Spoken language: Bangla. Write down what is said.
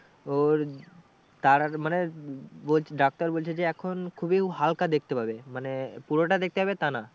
ওর তারার মানে বল ডাক্তার বলছে যে এখন খুবই হালকা দেখতে পাবে মানে পুরোটা দেখতে পাবে তা না।